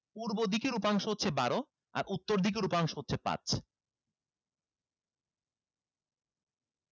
পূর্ব দিকের উপাংশ হচ্ছে বারো আর উত্তর দিকের উপাংশ হচ্ছে